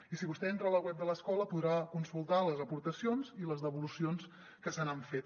i si vostè entra a la web de l’escola podrà consultar les aportacions i les devolucions que se n’han fet